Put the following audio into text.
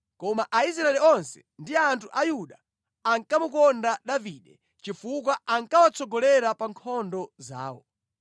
Koma Aisraeli onse ndi anthu a Yuda ankamukonda Davide chifukwa ankawatsogolera pa nkhondo zawo.